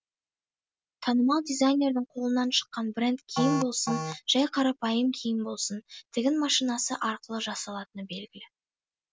танымал дизайнердің қолынан шыққан бренд киім болсын жай қарапайым киім болсын тігін машинасы арқылы жасалатыны белгілі